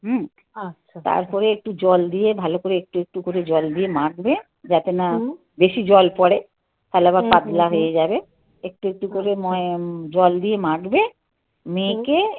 আচ্ছা. তারপরে একটু জল দিয়ে ভালো করে একটু একটু করে জল দিয়ে মাখবে. যাতে না হুম. বেশি জল পড়ে. তাহলে আবার পাতলা হয়ে যাবে। একটু একটু করে ময়াম জল দিয়ে মাখবে. মেখে